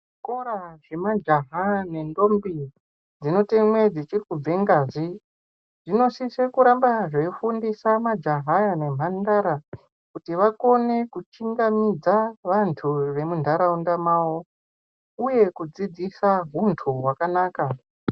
Zvikora zve majaha ne ndombi dzino temwe dzichiri kubve ngazi dzino sise kuramba dzei fundisa majaha aya ne mhandara kuti vakone ku chingamidza vantu vemu ndarunda mavo uye kudzidzisa huntu hwakanaka.